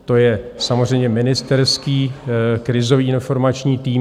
To je samozřejmě ministerský Krizový informační tým.